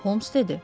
Homs dedi.